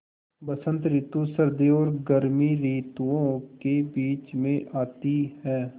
बसंत रितु सर्दी और गर्मी रितुवो के बीच मे आती हैँ